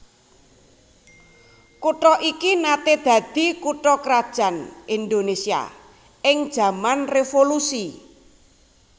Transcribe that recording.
Kutha iki naté dadi kutha krajan Indonésia ing jaman revolusi